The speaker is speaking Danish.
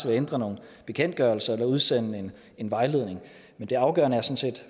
at ændre nogle bekendtgørelser eller at udsende en vejledning men det afgørende